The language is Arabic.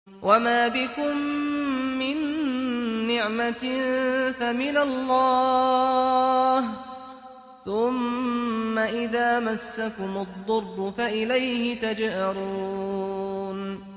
وَمَا بِكُم مِّن نِّعْمَةٍ فَمِنَ اللَّهِ ۖ ثُمَّ إِذَا مَسَّكُمُ الضُّرُّ فَإِلَيْهِ تَجْأَرُونَ